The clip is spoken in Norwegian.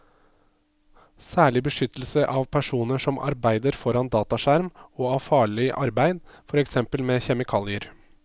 Særlig beskyttelse av personer som arbeider foran dataskjerm og av farlig arbeid, for eksempel med kjemikalier.